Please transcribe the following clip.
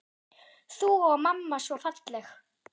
Þú og mamma svo falleg.